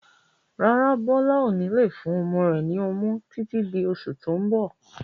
Rárá, Bọlá ó ní lè fún ọmọ rẹ ni ọmú títí di oṣù tó ń bọ̀.